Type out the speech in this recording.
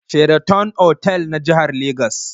Sheraton otal yana jihar Legas.